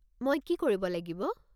মই কি কৰিব লাগিব?